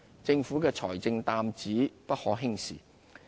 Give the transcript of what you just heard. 政府的財政擔子不可輕視。